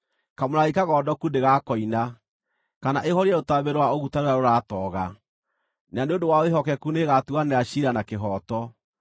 Kamũrangi kagondoku ndĩgakoina, kana ĩhorie rũtambĩ rwa ũguta rũrĩa rũratooga. Na nĩ ũndũ wa wĩhokeku nĩĩgatuanĩra ciira na kĩhooto;